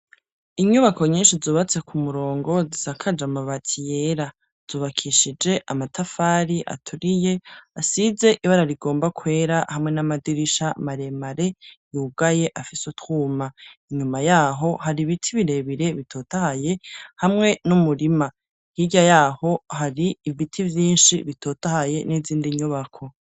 Inyubako nyinshi zubatse ku murongo zisakaje amabati yera, zubakishije amatafari aturiye asize ibara rigomba kwera, hamwe n'amadirisha maremare yugaye afise utwuma. Inyuma yaho, hari ibiti birebire bitotahaye hamwe n'umurima. Hirya yaho hari ibiti vyinshi bitotahaye n'izindi nyubako.